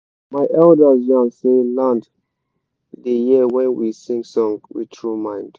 my elders yan say land da hear when we sing song with tru mind